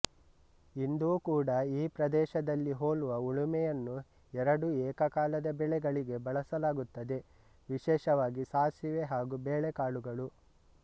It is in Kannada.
ಇಂದೂ ಕೂಡ ಈ ಪ್ರದೇಶದಲ್ಲಿ ಹೋಲುವ ಉಳುಮೆಯನ್ನು ಎರಡು ಏಕಕಾಲದ ಬೆಳೆಗಳಿಗೆ ಬಳಸಲಾಗುತ್ತದೆ ವಿಶೇಷವಾಗಿ ಸಾಸಿವೆ ಹಾಗೂ ಬೇಳೆಕಾಳುಗಳು